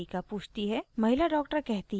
महिला doctor कहती है कि